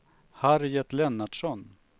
Harriet Lennartsson